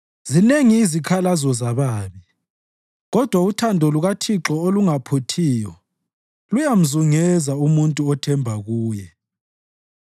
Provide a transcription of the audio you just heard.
Zinengi izikhalazo zababi, kodwa uthando lukaThixo olungaphuthiyo luyamzungeza umuntu othemba kuye.